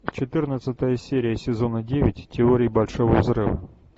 четырнадцатая серия сезона девять теория большого взрыва